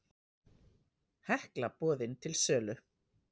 Hekla boðin til sölu